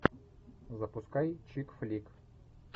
запускай чикфлик